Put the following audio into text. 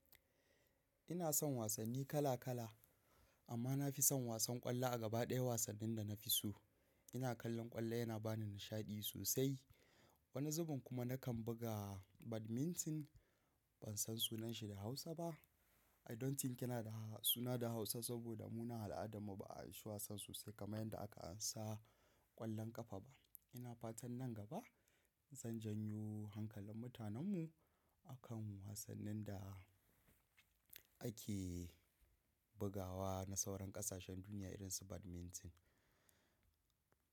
Ina son wasanni kala kala, amma na fi son wasan ƙwallo a gaba ɗaya wasannin da na fi so. Ina kallon ƙwallo, yana ba ni nishaɗi sosai. Wani zubin kuma nakan buga badminton. Ban san sunanshi da Hausa ba. I don't think yana da suna da Hausa saboda mu na al'adarmu ba a yi shi wasan sosai kamar yadda aka ansa ƙwallon ƙafa ba. Ina fatan nan gaba zan janyo hankalin mutanenmu akan wasannin da ake bugawa na sauran ƙasashen duniya irin su badminton.